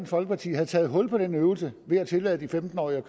folkeparti taget hul på den øvelse ved at tillade femten årige